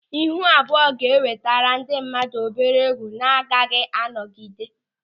Ịhụ abụọ ga-enwetere ndị mmadụ obere ùgwù na-agaghị anọgide.